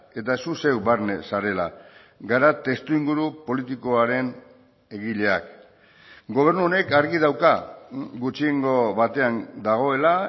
eta zu zeu barne zarela gara testuinguru politikoaren egileak gobernu honek argi dauka gutxiengo batean dagoela